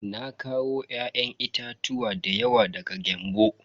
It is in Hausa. Na kawo ya'yan itatuwa dayawa daga Gembu.